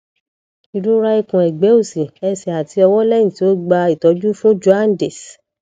irora ikun egbe osi ese ati owo lehin ti o gba itoju fun jaundice